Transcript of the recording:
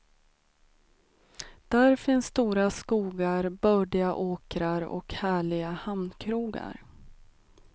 Där finns stora skogar, bördiga åkrar och härliga hamnkrogar.